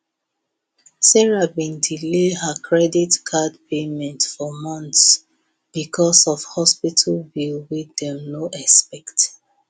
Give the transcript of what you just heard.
sarah been delay her credit card payment for months because of hospital bill wey dem no expect